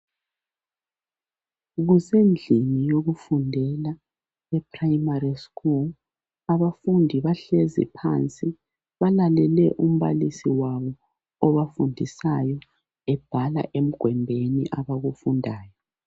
Kusendlini yokufundela e"Primary school".Abafundi bahlezi phansi balalele umbalisi wabo obafundisayo ebhala emgwembeni abakufundayo.